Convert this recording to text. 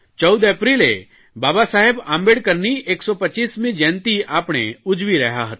14 એપ્રિલે બાબા સાહેબ આંબેડકરની 125મી જયંતિ આપણે ઉજવી રહ્યા હતા